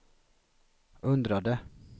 undrade